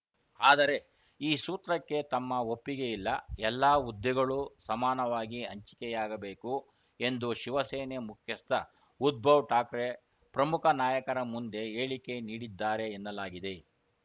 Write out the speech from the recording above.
ಆದರೆ ಈ ಸೂತ್ರಕ್ಕೆ ತಮ್ಮ ಒಪ್ಪಿಗೆ ಇಲ್ಲ ಎಲ್ಲ ಹುದ್ದೆಗಳೂ ಸಮಾನವಾಗಿ ಹಂಚಿಕೆಯಾಗಬೇಕು ಎಂದು ಶಿವಸೇನೆ ಮುಖ್ಯಸ್ಥ ಉದ್ಬವ್‌ ಠಾಕ್ರೆ ಪ್ರಮುಖ ನಾಯಕರ ಮುಂದೆ ಹೇಳಿಕೆ ನೀಡಿದ್ದಾರೆ ಎನ್ನಲಾಗಿದೆ